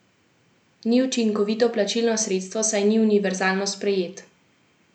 Ni učinkovito plačilno sredstvo, saj ni univerzalno sprejet.